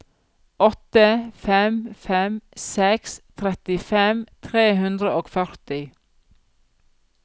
åtte fem fem seks trettifem tre hundre og førti